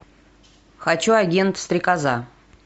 хочу агент стрекоза